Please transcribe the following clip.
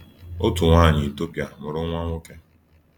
Otu nwanyị Etiopia mụrụ nwa nwoke.